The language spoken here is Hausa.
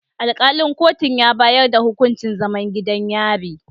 Alkalin kotun ya bayar da hukuncin zaman gidan yari